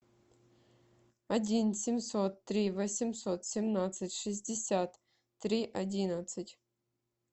один семьсот три восемьсот семнадцать шестьдесят три одиннадцать